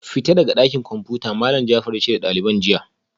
Fita daga dakin komfuta Malam Jafar yace da daliban jiya